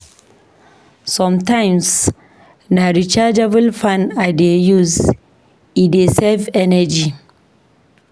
Sometimes, na rechargeable fan I dey use, e dey save energy.